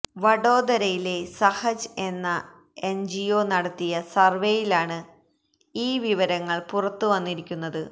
വഡോദരയിലെ സഹജ് എന്ന എൻജിഒ നടത്തിയ സർവ്വേയിലാണ് ഈ വിവരങ്ങൾ പുറത്ത് വന്നിരിക്കുന്നത്